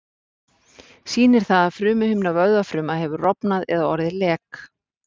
Sýnir það að frumuhimna vöðvafruma hefur rofnað eða orðið lek.